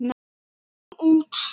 Komum út.